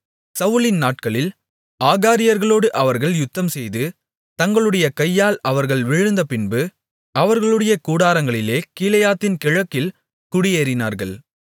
சவுலின் நாட்களில் ஆகாரியர்களோடு அவர்கள் யுத்தம்செய்து தங்களுடைய கையால் அவர்கள் விழுந்தபின்பு அவர்களுடைய கூடாரங்களிலே கீலேயாத்தின் கிழக்கில் குடியேறினார்கள்